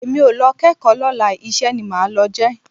Èmi ò lọ kẹ́kọ̀ọ́ lọ́la iṣẹ́ ni màá lọ jẹ́